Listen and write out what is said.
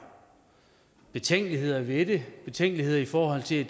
betænkeligheder ved det betænkeligheder i forhold til at